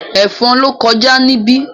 Ẹ̀fọn ló kọjá níbí